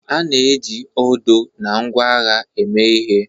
A na-eji odo na ngwa agha eme ihe